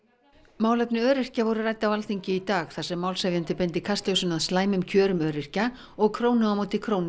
málefni öryrkja voru rædd á Alþingi í dag þar sem málshefjandi beindi kastljósinu að slæmum kjörum öryrkja og krónu á móti krónu